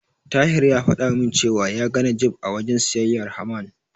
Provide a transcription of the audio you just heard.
Tahir ya fada min cewa ya ga Najeeb a wajen siyayyar Haman.